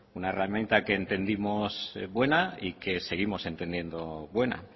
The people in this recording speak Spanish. una herramienta que entendimos buena y que seguimos entendiendo buena